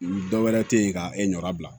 Dɔ wɛrɛ te yen ka e nɔ bila